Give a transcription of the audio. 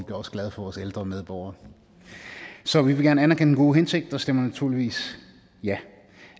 er også glade for vores ældre medborgere så vi vil gerne anerkende den gode hensigt og stemmer naturligvis ja